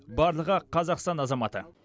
барлығы қазақстан азаматы